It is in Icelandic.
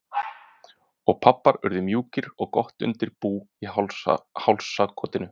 Og pabbar urðu mjúkir og gott undir bú í hálsakotinu.